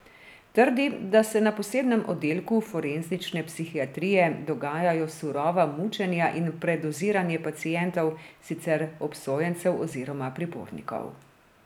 Trdi, da se na posebnem oddelku forenzične psihiatrije dogajajo surova mučenja in predoziranje pacientov, sicer obsojencev oziroma pripornikov.